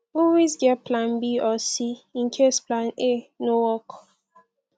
always get plan b or c in case plan a no work